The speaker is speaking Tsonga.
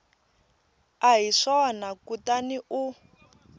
a hi swona kutani u